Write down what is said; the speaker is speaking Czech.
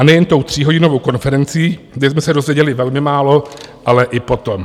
A nejen tou tříhodinovou konferencí, kde jsme se dozvěděli velmi málo, ale i potom.